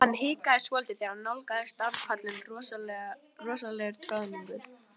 Hann hikaði svolítið þegar hann nálgaðist danspallinn rosalegur troðningur.